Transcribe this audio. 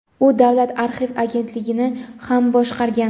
u davlat arxiv agentligini ham boshqargan.